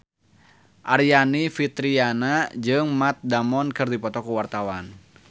Aryani Fitriana jeung Matt Damon keur dipoto ku wartawan